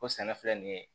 Ko sɛnɛ filɛ nin ye